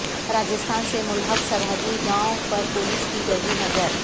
راجستھان سے ملحق سرحدی گاوں پر پولیس کی گہری نظر